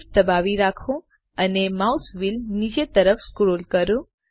SHIFT દબાવી રાખો અને માઉસ વ્હીલ નીચે તરફ સ્ક્રોલ કરો